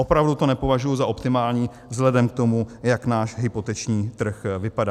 Opravdu to nepovažuji za optimální vzhledem k tomu, jak náš hypoteční trh vypadá.